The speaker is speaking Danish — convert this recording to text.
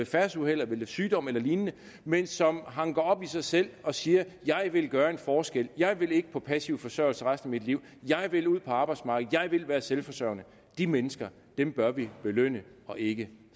færdselsuheld eller ved sygdom eller lignende men som hanker op i sig selv og siger jeg vil gøre en forskel jeg vil ikke på passiv forsørgelse resten af mit liv jeg vil ud på arbejdsmarkedet jeg vil være selvforsørgende de mennesker bør vi belønne og ikke